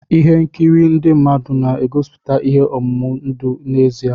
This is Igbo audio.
Ihe nkiri ndị mmadụ na-egosiputa ihe omume ndụ n'ezie.